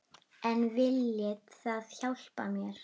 En viljið þið hjálpa mér?